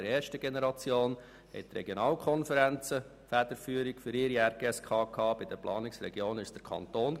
In der ersten Generation hatten die Regionalkonferenzen die Federführung ihrer RGSK übernommen, bei den Planungsregionen war es der Kanton.